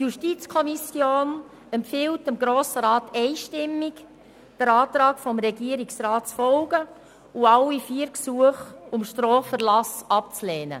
Die JuKo empfiehlt dem Grossen Rat einstimmig, dem Antrag des Regierungsrats zu folgen und alle vier Gesuche um Straferlass abzulehnen.